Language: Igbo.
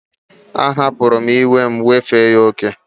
A hapuru iwe m,wefe ya oke